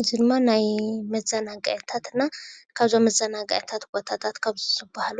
እዚ ድማ ናይ መዛናግዕታትና ካብዞም መዛናግዕታት ቦታታት ካብ ዝብሃሉ